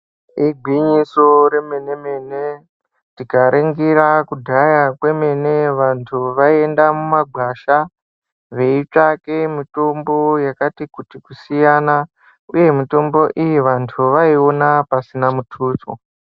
Igwinyiso remene-mene tikaringira kudhaya kwemene vantu vaienda mumagwasha veitsvake mitombo yakatikuti kusiyana uye vantu vaiona pasina mutuso.